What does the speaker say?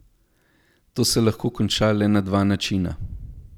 To se lahko konča le na dva načina.